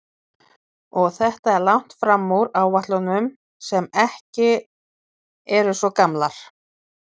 Og þetta er langt fram úr áætlunum sem ekki eru svo gamlar?